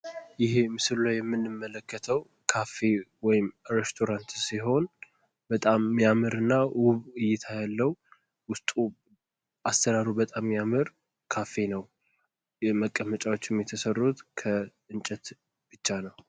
ይሄ ምስሉ ላይ የምንመለከተው ካፌ ወይም ሬስቶራት ሲሆን በጣም የሚያምርና ውብ እይታ ያለው አሰራሩ በጣም የሚያምር የሚያምር ካፌ ነው። መቀመጫዎችም የተሰሩት ከእንጨት ብቻ ነው።